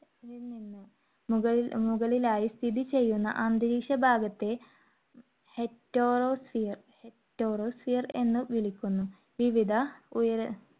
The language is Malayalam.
മുകളിലായി സ്ഥിതിചെയ്യുന്ന അന്തരീക്ഷ ഭാഗത്തെ heterosphere ~ heterosphere എന്നു വിളിക്കുന്നു. വിവിധ ഉയര